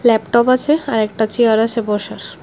Laptop আছে আর একটা চেয়ার আছে বসার।